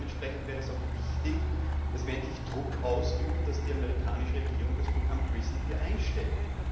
Dementsprechend wäre es auch wichtig, dass wir endlich Druck ausüben, dass die amerikanische Regierung das Programm PRISM einstellt.